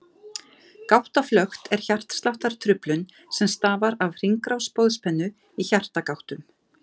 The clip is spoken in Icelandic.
Gáttaflökt er hjartsláttartruflun sem stafar af hringrás boðspennu í hjartagáttum.